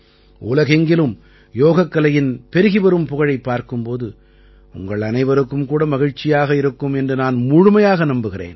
உலகெங்கிலும் யோகக்கலையின் பெருகி வரும் புகழைப் பார்க்கும் போது உங்கள் அனைவருக்கும் கூட மகிழ்ச்சியாக இருக்கும் என்று நான் முழுமையாக நம்புகிறேன்